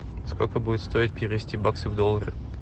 сколько будет стоить перевести баксы в доллары